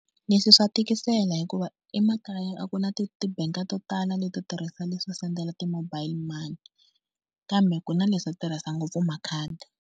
Leswi swa tikisela hikuva emakaya a ku na ti ti-bank to tala leto tirhisa leswo sendela ti-mobile money kambe ku na leswo tirhisa ngopfu makhadi.